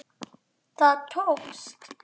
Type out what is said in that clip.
Það tókst.